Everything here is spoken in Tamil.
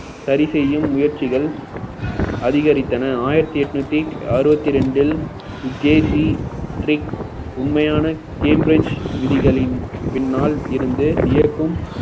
சரி செய்யும் முயற்சிகள் அதிகரித்தன ஆயிரத்தி எட்நூத்தி அறுவத்தி ரெண்டில் ஜேசி ட்ரிக் உண்மையான cambridge விதிகளின் பின்னால் இருந்து இயக்கும்